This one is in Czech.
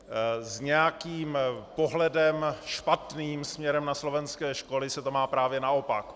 S nějakým pohledem špatným směrem na slovenské školy se to má právě naopak.